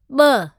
ॿ